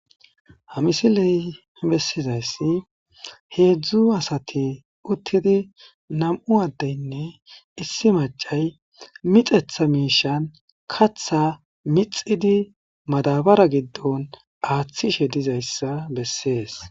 Hamisiley bessizayssi heedzdzu asati uttidi nam7u addeynne issi macay mixetha miishan katha mixidi madabara giddon aaththishe dizayssa bessees